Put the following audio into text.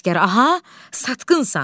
Əsgər aha, satqınsan!